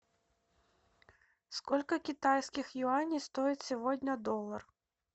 сколько китайских юаней стоит сегодня доллар